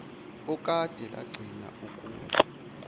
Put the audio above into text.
okade lagcina ukuna